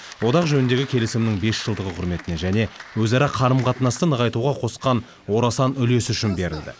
одақ жөніндегі келісімнің бес жылдығы құрметіне және өзара қарым қатынасты нығайтуға қосқан орасан үлесі үшін берілді